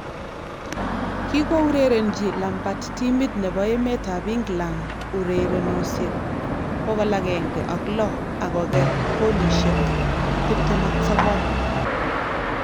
Kigourerenchi Lampard timit nebo emetab England urerenosiek 106 ak koger goolosiek 29